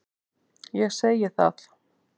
Ég segi það.